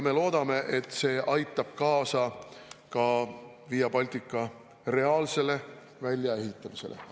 Me loodame, et see aitab kaasa Via Baltica reaalsele väljaehitamisele.